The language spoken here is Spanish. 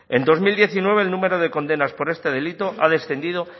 en dos mil diecinueve el número de condenas por este delito ha descendido